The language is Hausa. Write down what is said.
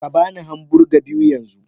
Ka ba ni hamburger biyu yanzu